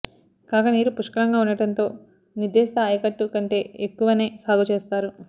కాగా నీరు పుష్కలంగా ఉండటంతో నిర్దేశిత ఆయకట్టు కంటే ఎక్కువనే సాగు చేస్తారు